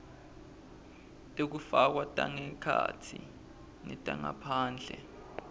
tekufakwa tangekhatsi netangephandle